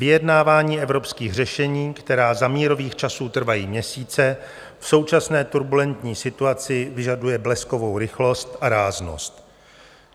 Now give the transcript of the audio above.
Vyjednávání evropských řešení, která za mírových časů trvají měsíce, v současné turbulentní situaci vyžadují bleskovou rychlost a ráznost.